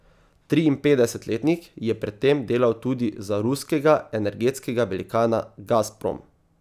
Triinpetdesetletnik je pred tem delal tudi za ruskega energetskega velikana Gazprom.